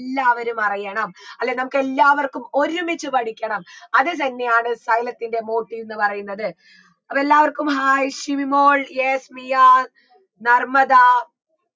എല്ലാവരും അറിയണം അല്ലെ നമുക്കെല്ലാവർക്കും ഒരുമിച്ച് പഠിക്കണം അത് തന്നെയാണ് സൈലത്തിൻറെ motive ന്ന് പറയുന്നത് അപ്പൊ എല്ലാവർക്കും hai ശിവിമോൾ yes റിയ നർമ്മദ